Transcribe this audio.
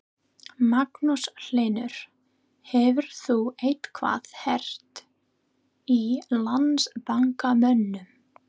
Magnús Hlynur: Hefur þú eitthvað heyrt í Landsbankamönnum?